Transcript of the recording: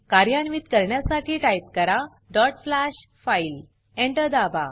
कार्यान्वीत करण्यासाठी टाइप करा डॉट स्लॅशफाईल फाइल Enter दाबा